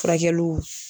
Furakɛliw